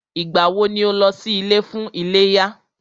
Ìgbà wọ ni o lọ sí ilé fún iléyá?